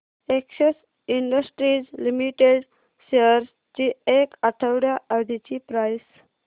Excel industries limited shares ची एक आठवड्या आधीची प्राइस